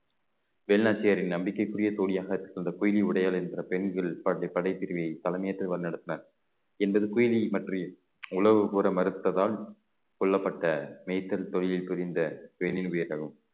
வேலுநாச்சியாரின் நம்பிக்கைக்குரிய தோழியாக அந்த பொய்கை உடையாள் என்கிற பெண்கள் படைப்~ படைப்பிரிவை தலைமை ஏற்று வழிநடத்தினார் என்பது குயிலியை பற்றி உளவு கூற மறுத்ததால் கொல்லப்பட்ட மேய்த்தல் தொழில் புரிந்த பெண்ணின் உயிர் தழுவும்